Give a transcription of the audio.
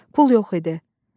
Pul yox idi.